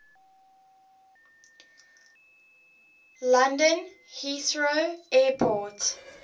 london heathrow airport